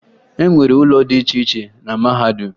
E nwere ụlọ dị iche iche na mahadum